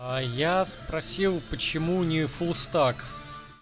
а я спросил почему не фулстак